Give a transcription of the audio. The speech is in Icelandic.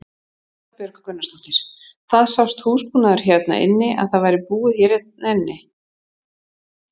Erla Björg Gunnarsdóttir: Það sást húsbúnaður hérna inni að það væri búið hérna inni?